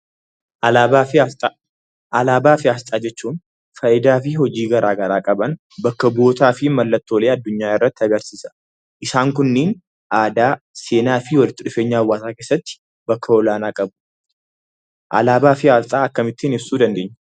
Alaabaa fi asxaa jechuun faayidaa fi hojii garaa garaa qaban, bakka bu'ootaa fi mallattoolee addunyaa irratti agarsiisa. Isaan kunniin aadaa, seenaa fi walitti dhufeenya hawaasaa keessatti bakka olaanaa qabu. Alaabaa fi asxaa akkamittiin ibsuu dandeenya?